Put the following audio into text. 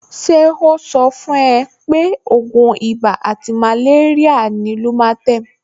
Ṣé ó sọ fún ẹ pé ògùn ibà àti màléríà ni Lumatem